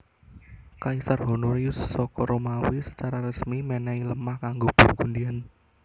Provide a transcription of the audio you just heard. Kaisar Honorius saka Romawi secara resmi menehi lemah kanggo Burgundian